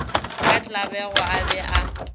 ka tlabego a be a